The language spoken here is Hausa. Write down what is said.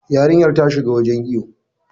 Yarinyar ta shi cikin wajen iwo.